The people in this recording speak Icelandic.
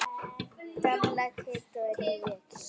Gamla Kidda og nýja Kidda.